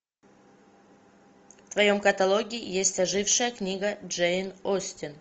в твоем каталоге есть ожившая книга джейн остин